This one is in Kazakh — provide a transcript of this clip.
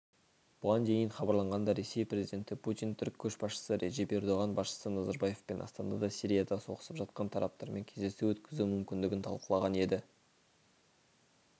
бұған дейін хабарланғандай ресей президенті путин түрік көшбасшысы реджеп ердоған басшысы назарбаевпен астанада сирияда соғысып жатқан тараптармен кездесу өткізу мүмкіндігін талқылаған еді